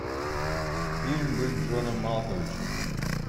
фильм быть джоном малковичем